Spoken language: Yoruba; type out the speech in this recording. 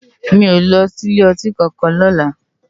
Mi ó lòsí ilé òtín kànkán lòlá